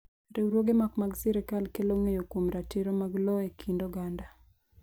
Riwruoge ma ok mag sirkal kelo ng’eyo kuom ratiro mag lowo e kind oganda.